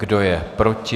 Kdo je proti?